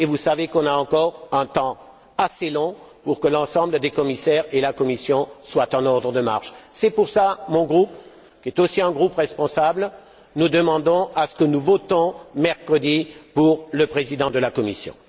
Or, vous savez qu'on a encore un temps assez long devant nous avant que l'ensemble des commissaires et la Commission soient en ordre de marche. C'est pour cela que, mon groupe étant aussi responsable, nous demandons à ce que nous votions mercredi pour le président de la Commission.